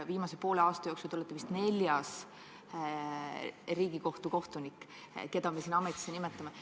Viimase poole aasta jooksul te olete vist neljas Riigikohtu kohtunik, keda me siin ametisse nimetame.